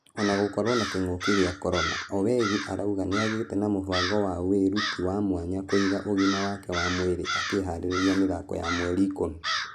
Ũna gũgĩkorwo na kĩng'uki gĩa corona owegi arauga nĩaigĩte na mũbango wa wĩruti wa mwanya kũiga ũgima wake wa mwerĩ akĩharĩria mĩthako ya mweri ikũmi.